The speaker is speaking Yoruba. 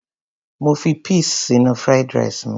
Mo fi peas sínú fried rice mi.